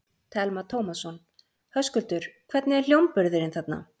Telma Tómasson: Höskuldur, hvernig er hljómburðurinn þarna?